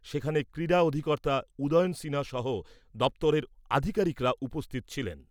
সেখানে ক্রীড়া অধিকর্তা উদয়ন সিনহা সহ দপ্তরের আধিকারিকরা উপস্থিত ছিলেন।